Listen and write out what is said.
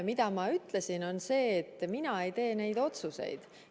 Mida ma ütlesin, oli see, et mina ei tee neid otsuseid.